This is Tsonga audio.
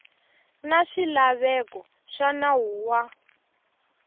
na swilaveko swa nawu wa